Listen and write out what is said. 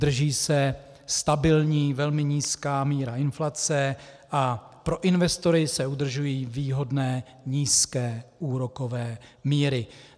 Drží se stabilní velmi nízká míra inflace a pro investory se udržují výhodné nízké úrokové míry.